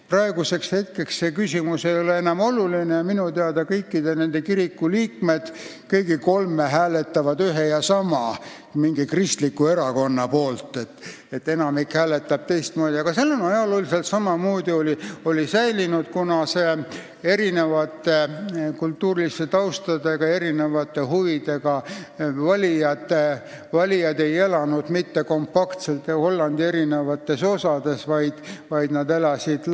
Praeguseks ei ole see küsimus enam oluline ja minu teada kõigi nende kolme kiriku liikmed hääletavad ühe ja sama kristliku erakonna poolt, enamik aga hääletab teistmoodi, kuid jah, erineva kultuurilise tausta ja erinevate huvidega valijad ei elanud ajalooliselt mitte kompaktselt Hollandi eri osades, vaid nad elasid laiali kogu riigis.